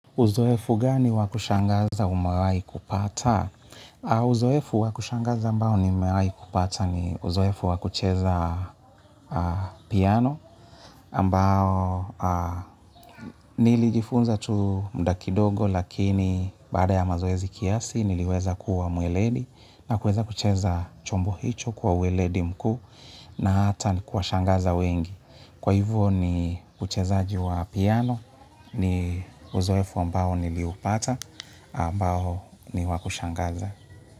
Uzoefu gani wa kushangaza umewahii kupata? Uzoefu wa kushangaza ambao ni umawaih kupata ni uzoefu wakucheza piano ambao nilijifunza tu muda kidogo lakini baada ya mazoezi kiasi niliweza kuwa mweledi na kuweza kucheza chombo hicho kwa uweledi mkuu na hata nikuwa shangaza wengi. Kwa hivyo ni kuchezaaji wa piano ni uzoefu ambao niliupata ambao ni wa kushangaza.